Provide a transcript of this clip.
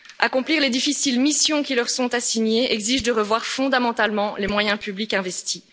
Accomplir les difficiles missions qui leur sont assignées exige de revoir fondamentalement les moyens publics investis.